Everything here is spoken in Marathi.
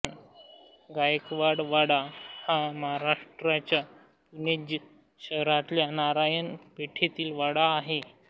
गायकवाड वाडा हा महाराष्ट्राच्या पुणे शहरातल्या नारायण पेठेतील वाडा आहे